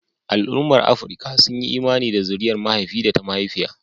Al'ummar Afirka sun yi imani da zuriyar mahaifi da ta mahaifiya.